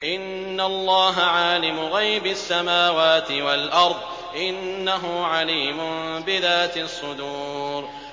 إِنَّ اللَّهَ عَالِمُ غَيْبِ السَّمَاوَاتِ وَالْأَرْضِ ۚ إِنَّهُ عَلِيمٌ بِذَاتِ الصُّدُورِ